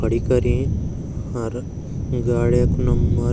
खड़ी करीं और गाड़िया कु नंबर --